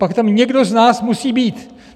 Pak tam někdo z nás musí být.